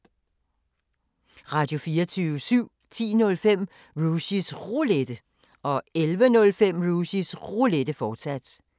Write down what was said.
Radio24syv